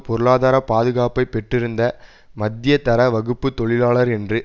பொருளாதார பாதுகாப்பை பெற்றிருந்த மத்தியதர வகுப்பு தொழிலாளர் என்று